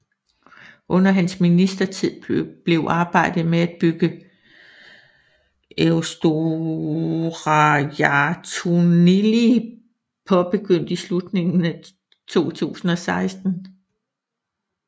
Under hans ministertid blev arbejdet med at bygge Eysturoyartunnilin påbegyndt i slutningen af 2016